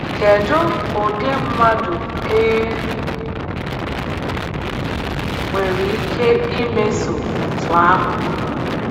Kedụ ụdị mmadụ e nwere ike imeso otú ahụ.